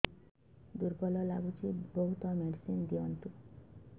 ଦୁର୍ବଳ ଲାଗୁଚି ବହୁତ ମେଡିସିନ ଦିଅନ୍ତୁ